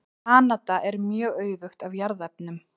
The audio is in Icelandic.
Kanada er mjög auðugt af jarðefnum.